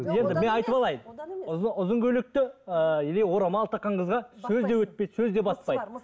енді мен айтып алайын ұзын көйлекті ііі или орамал таққан қызға сөз де өтпейді сөз де баспайды